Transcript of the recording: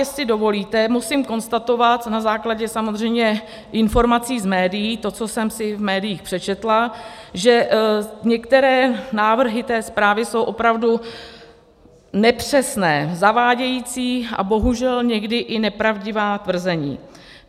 Jestli dovolíte, musím konstatovat na základě samozřejmě informací z médií, to, co jsem si v médiích přečetla, že některé návrhy té zprávy jsou opravdu nepřesné, zavádějící a bohužel někdy i nepravdivá tvrzení.